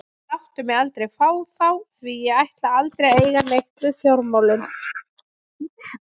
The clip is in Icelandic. Láttu mig aldrei fá þá því að ég ætla aldrei að eiga neitt við fjármálin.